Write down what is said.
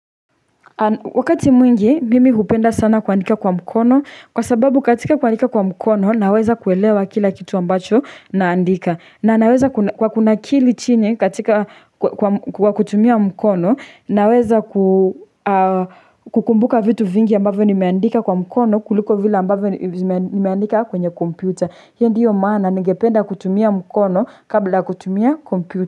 Wakati mwingi mimi hupenda sana kuandika kwa mkono kwa sababu katika kuandika kwa mkono naweza kuelewa kila kitu ambacho naandika na naweza kwa kunakili chini katika kwa kutumia mkono naweza kukumbuka vitu vingi ambavyo nimeandika kwa mkono kuliko vile ambavyo nimeandika kwenye kompyuta hiyo ndio maana ningependa kutumia mkono kabla kutumia kompyuta.